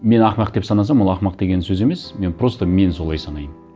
мен ақымақ деп санасам ол ақымақ деген сөз емес мен просто мен солай санаймын